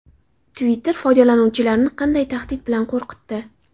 Twitter foydalanuvchilarini qanday tahdid bilan qo‘rqitdi?